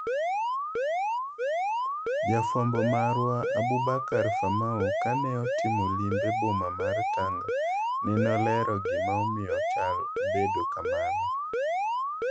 Jafwambo marwa Aboubakar Famau kane otimo limbe boma mar Tanga, nene olero gima omiyo chal obedo kamano.